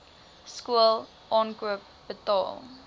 skool aankoop betaal